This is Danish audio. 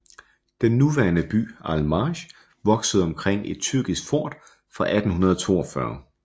Den nuværende by Al Marj voksede omkring et tyrkisk fort fra 1842